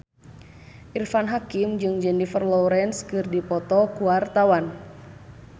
Irfan Hakim jeung Jennifer Lawrence keur dipoto ku wartawan